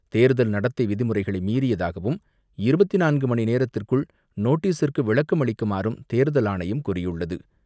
தேர்தல் நடத்தை விதிமுறைகளை மீறியதாகவும், இருபத்து நான்கு மணிநேரத்திற்குள் நோட்டீஸிற்கு விளக்கம் அளிக்குமாறும் தேர்தல் ஆணையம் கூறியுள்ளது.